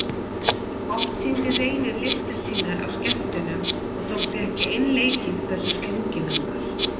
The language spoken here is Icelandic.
Oft sýndi Reynir listir sínar á skemmtunum og þótti ekki einleikið hversu slunginn hann var.